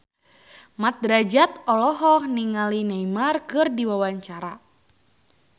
Mat Drajat olohok ningali Neymar keur diwawancara